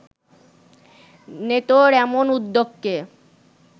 নেটোর এমন উদ্যোগকে